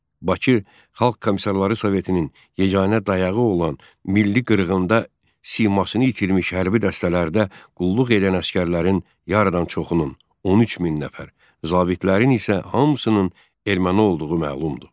Bakı Xalq Komissarları Sovetinin yeganə dayağı olan milli qırğında simasını itirmiş hərbi dəstələrdə qulluq edən əsgərlərin yarıdan çoxunun, 13 min nəfər, zabitlərin isə hamısının erməni olduğu məlumdur.